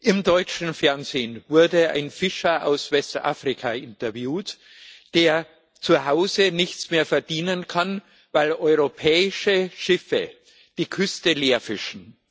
Im deutschen Fernsehen wurde ein Fischer aus Westafrika interviewt, der zu Hause nichts mehr verdienen kann, weil europäische Schiffe die Küste leer fischen.